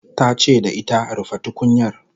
ta ce da ita "rufe tukunyar"